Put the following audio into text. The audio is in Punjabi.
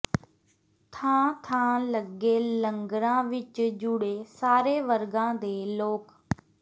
ਥਾਂ ਥਾਂ ਲੱਗੇ ਲੰਗਰਾਂ ਵਿੱਚ ਜੁੜੇ ਸਾਰੇ ਵਰਗਾਂ ਦੇ ਲੋਕ